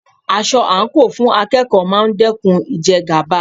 Aṣọ àǹkóò fún akẹ́kọ̀ọ́ máa dẹ́kun ìjẹgàba.